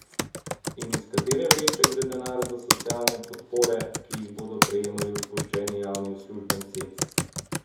In iz katere vreče gre denar za socialne podpore, ki jih bodo prejemali odpuščeni javni uslužbenci?